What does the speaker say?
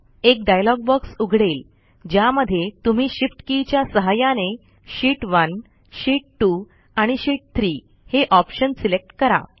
एक dialogue box उघडेल ज्यामध्ये तुम्ही Shift के च्या सहाय्याने शीत 1 शीत 2 आणि शीत 3 हे ऑप्शन सिलेक्ट करा